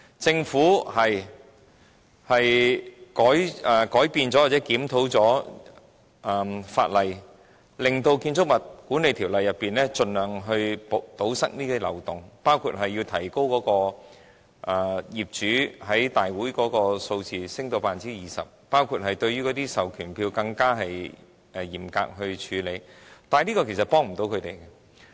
政府的確曾修改或檢討法例，透過《建築物管理條例》來盡量堵塞這些漏洞，包括提高業主佔業主大會的比例至 20%， 以及更嚴格處理授權書，但這些安排其實無法幫助他們。